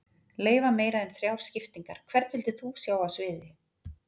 Leyfa meira en þrjár skiptingar Hvern vildir þú sjá á sviði?